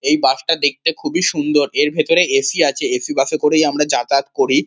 এই বাস -টা দেখতে খুবই সুন্দর। এর ভেতরে এ.সি. আছে। এ.সি. বাস -এ করে আমরা যাতায়াত করি।